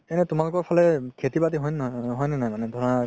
এনে তুমালোকৰ ফালে খেতি বাতি হয় নে নহয় হয় নে নাই মানে ধৰা